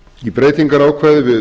í breytingarákvæði við